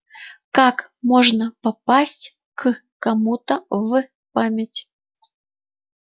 как можно попасть к кому-то в память